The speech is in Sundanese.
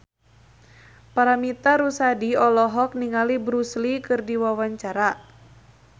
Paramitha Rusady olohok ningali Bruce Lee keur diwawancara